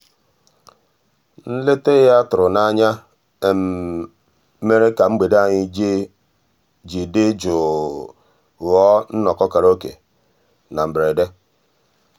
nlétà ya tụ̀rù n'ányá mèrè kà mgbede ànyị́ dị́ jụ́ụ́ ghọ́ọ́ nnọ́kọ́ kàráòké na mbèredè.